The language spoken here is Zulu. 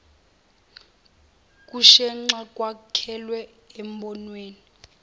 kushenxa kwakhelwe embonweni